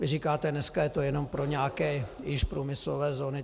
Vy říkáte: dneska je to jenom pro nějaké již průmyslové zóny.